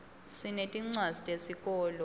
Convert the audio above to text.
sinetincwadzi tesikolo